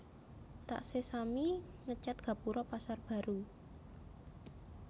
Taksih sami ngecet gapuro Pasar Baru